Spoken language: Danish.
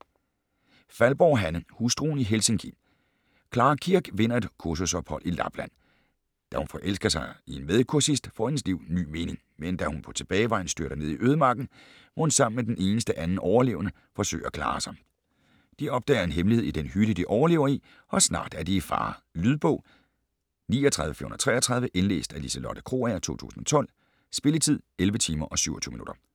Faldborg, Hanne: Hustruen i Helsinki Clara Kirk vinder et kursusophold i Lapland. Da hun forelsker sig i en medkursist, får hendes liv ny mening. Men da hun på tilbagevejen styrter ned i ødemarken, må hun sammen med den eneste anden overlevende, forsøge at klare sig. De opdager en hemmelighed i den hytte, de overlever i, og snart er de i fare. Lydbog 39433 Indlæst af Liselotte Krogager, 2012. Spilletid: 11 timer, 27 minutter.